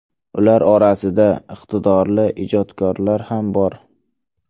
Ular orasida iqtidorli ijodkorlar ham bor.